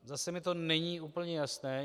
Zase mi to není úplně jasné.